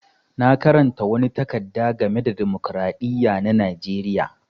Na karanta wani takarda game da dimokiradiyya na Najeriya.